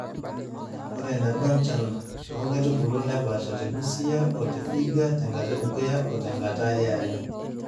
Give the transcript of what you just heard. ore eneba enchan too nkaitubulu napaasha te busia o te vihiga te nkata e dukuya o te nkata e are.